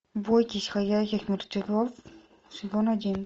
бойтесь ходячих мертвецов сезон один